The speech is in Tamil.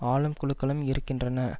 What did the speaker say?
ஆளும் குழுக்களும் இருக்கின்றன